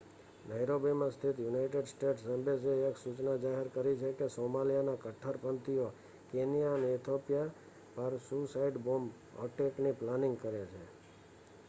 "નૈરોબીમાં સ્થિત United States એમ્બસીએ એક સૂચના જારી કરી છે કે "સોમાલિયા ના કટ્ટરપંથીઓ" કેન્યા અને ઇથોપિયા પાર સુઈસાઈડ બૉમ્બ અટેકની પ્લેનિંગ કરે છે.